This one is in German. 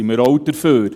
Wir sind auch dafür.